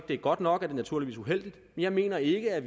det er godt nok er det naturligvis uheldigt men jeg mener ikke at